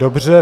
Dobře.